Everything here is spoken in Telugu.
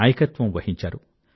నాయకత్వం వహించారు